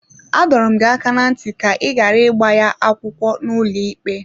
Adọrọ m gị aka ná ntị ka ị ghara ịgba ya akwụkwọ n’ụlọikpe!